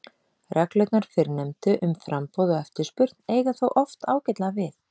Reglurnar fyrrnefndu um framboð og eftirspurn eiga þó oft ágætlega við.